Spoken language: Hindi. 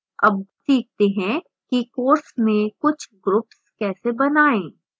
अब सीखते हैं कि course में कुछ groups कैसे बनाएं